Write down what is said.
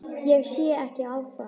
Ég sé ekki áfram.